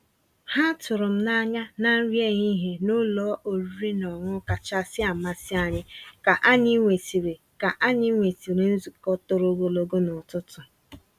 Há tụ̀rụ́ m n'anyà ná nrí èhihie ná ụ́lọ̀ ọ̀rị́rị́ ná ọ̀ṅụ̀ṅụ̀ kàchàsị́ àmàsí ànyị́ kà ànyị́ nwèsị́rị́ kà ànyị́ nwèsị́rị́ nzukọ́ tòró ògòlógò n'ụ̀tụtụ̀.